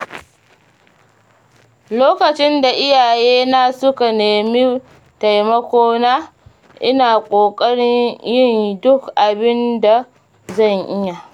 Lokacin da iyalina suka nemi taimakona, ina ƙoƙarin yin duk abin da zan iya.